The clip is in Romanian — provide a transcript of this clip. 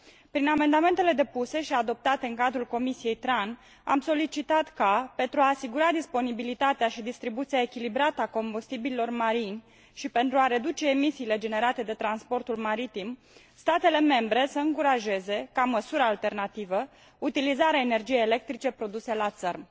Prin amendamentele depuse și adoptate în cadrul comisiei TRAN, am solicitat ca, pentru a asigura disponibilitatea și distribuția echilibrată a combustibililor marini și pentru a reduce emisiile generate de transportul maritim, statele membre să încurajeze, ca măsură alternativă, utilizarea energiei electrice produse la țărm.